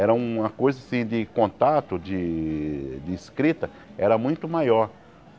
Era uma coisa assim de contato, de de escrita, era muito maior.